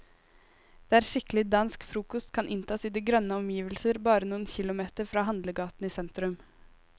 Der skikkelig dansk frokost kan inntas i grønne omgivelser bare noen kilometer fra handlegaten i sentrum.